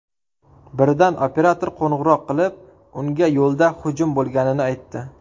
Birdan operator qo‘ng‘iroq qilib, unga yo‘lda hujum bo‘lganini aytdi.